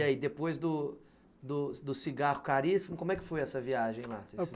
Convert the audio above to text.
E aí, depois do cigarro caríssimo, como é que foi essa viagem lá?